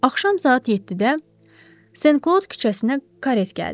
Axşam saat yeddidə Senklod küçəsinə karet gəldi.